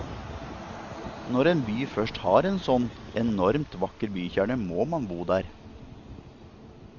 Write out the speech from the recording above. Når en by først har en sånn enormt vakker bykjerne må man bo der.